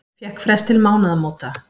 Fékk frest til mánaðamóta